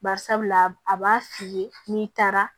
Bari sabula a b'a f'i ye n'i taara